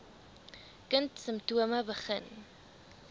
kind simptome begin